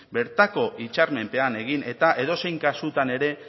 bertako hitzarmenpean egin eta edozein kasutan ere